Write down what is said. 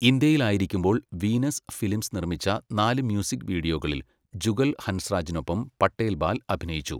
ഇന്ത്യയിലായിരിക്കുമ്പോൾ, Venus Films നിർമ്മിച്ച നാല് music വീഡിയോകളിൽ, ജുഗൽ ഹൻസ്രാജിനൊപ്പം പട്ടേൽ ബാൽ അഭിനയിച്ചു.